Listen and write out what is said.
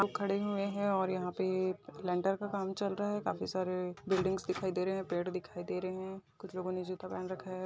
सब खड़े हुए हैं और यहां पर लेंटर का काम चल रहा है। काफी सरे बिल्डिंग दिखाई दे रहे हैं। पेड़ दिखाई दे रहे हैं। कुछ लोगों ने जुता पहन रखा है।